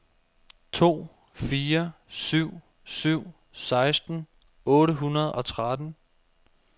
to fire syv syv seksten otte hundrede og tretten